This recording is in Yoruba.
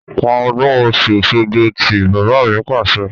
Pa ọdún Ọ̀sun-Osogbo tí! Bàbá mi Pàṣẹ.